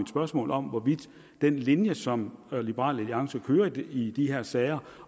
spørgsmål om hvorvidt den linje som liberal alliance kører i de her sager